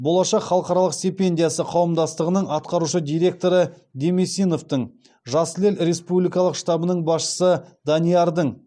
болашақ халықаралық стипендиясы қауымдастығының атқарушы директоры демесиновтың жасыл ел республикалық штабының басшысы даниярдың